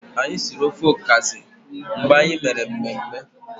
Anyi siri ofe ọkazị mgbe anyi mere mmemme.